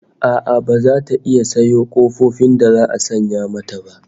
A'a baza ta iya sayo kofofin da za'a sanya mata ba